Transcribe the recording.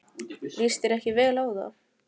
Líst þér ekki vel á það?